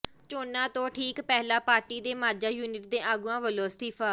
ਚੋਣਾਂ ਤੋਂ ਠੀਕ ਪਹਿਲਾਂ ਪਾਰਟੀ ਦੇ ਮਾਝਾ ਯੂਨਿਟ ਦੇ ਆਗੂਆਂ ਵੱਲੋਂ ਅਸਤੀਫਾ